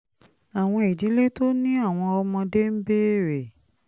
àwọn ìdílé tó ní àwọn ọmọdé ń béèrè